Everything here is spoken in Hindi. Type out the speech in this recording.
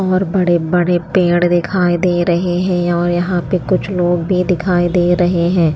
और बड़े-बड़े पेड़ दिखाई दे रहे हैं और यहां पे कुछ लोग भी दिखाई दे रहे हैं।